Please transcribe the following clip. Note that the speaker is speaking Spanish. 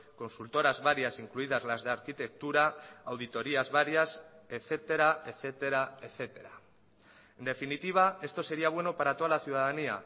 consultoras varias incluidas las de arquitectura auditorias varias etcétera etcétera etcétera en definitiva esto sería bueno para toda la ciudadanía